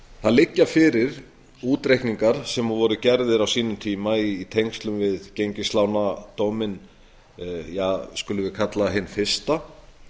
það liggja fyrir útreikningar sem voru gerðir á sínum tíma í tengslum við gengislánadóminn skulum við kalla hinn fyrsta